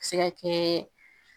A bɛ se ka kɛ